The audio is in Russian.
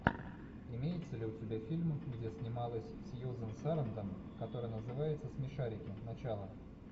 имеется ли у тебя фильм где снималась сьюзан сарандон который называется смешарики начало